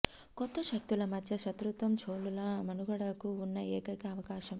కొత్త శక్తుల మధ్య శత్రుత్వం చోళుల మనుగడకు ఉన్న ఏకైక అవకాశం